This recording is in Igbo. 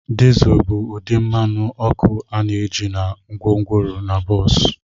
Diesel bụ ụdị mmanụ ọkụ a na-eji na gwongworo na bọs.